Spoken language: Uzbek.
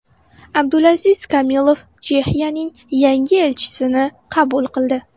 Abdulaziz Kamilov Chexiyaning yangi elchisini qabul qildi.